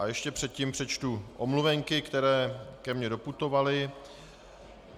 A ještě předtím přečtu omluvenky, které ke mně doputovaly.